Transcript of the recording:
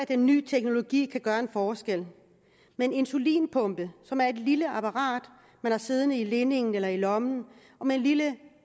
den nye teknologi kan gøre en forskel med en insulinpumpe som er et lille apparat man har siddende i linningen eller har i lommen og med en lille